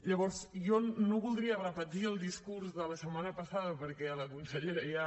llavors jo no voldria repetir el discurs de la setmana passada perquè la consellera ja